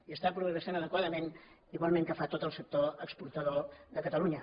i està progressant adequadament igual que ho fa tot el sector exportador de catalunya